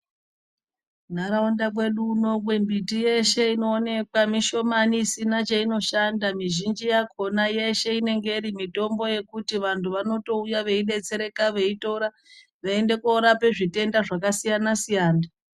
Ntaraunda kwedu uno miti yeshe inoonekwa mishomani isina cheinoshanda. Mizhinji yakona yeshe inenge iri mitombo yekuti vantu vanotouya veidetsereka, veitora veiende koorape zvitenda zvakasiyana-siyana.